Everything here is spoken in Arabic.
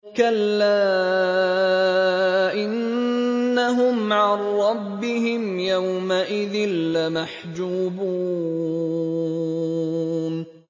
كَلَّا إِنَّهُمْ عَن رَّبِّهِمْ يَوْمَئِذٍ لَّمَحْجُوبُونَ